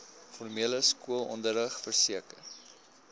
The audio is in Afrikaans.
formele skoolonderrig verseker